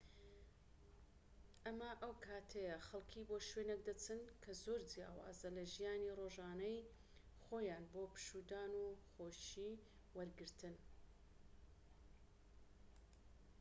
ئەمە ئەو کاتەیە خەڵکی بۆ شوێنێک دەچن کە زۆر جیاوازە لە ژیانی ڕۆژانەی خۆیان بۆ پشوودان و خۆشی وەرگرتن